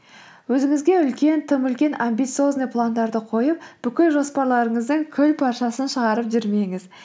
өзіңізге үлкен тым үлкен амбициозный пландарды қойып бүкіл жоспарларыңыздың күлпаршасын шығарып жүрмеңіз